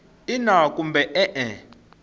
ina kumbe e e